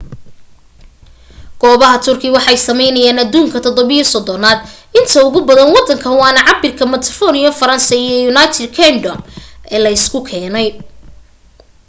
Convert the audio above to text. goobaha turkey waxay sameyeynayaan aduunka 37 aad inta ugu badan wadanka waana cabirka metropolitan france iyo united kingdom la isu keenay